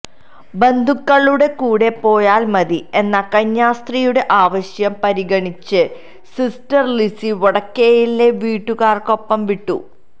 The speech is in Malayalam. ബന്ധുക്കളുടെ കൂടെ പോയാൽ മതി എന്ന കന്യാസ്ത്രീയുടെ ആവശ്യം പരിഗണിച്ച് സിസ്റ്റര് ലിസി വടക്കേയിലിനെ വീട്ടുകാർക്കൊപ്പം വിട്ടു